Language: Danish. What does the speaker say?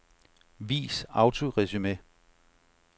Vis autoresumé.